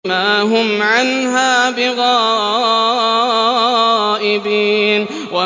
وَمَا هُمْ عَنْهَا بِغَائِبِينَ